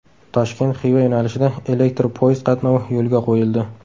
Toshkent Xiva yo‘nalishida elektr poyezd qatnovi yo‘lga qo‘yildi .